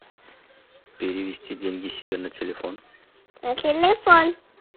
перевести деньги себе на телефон